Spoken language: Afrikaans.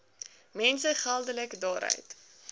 mense geldelik daaruit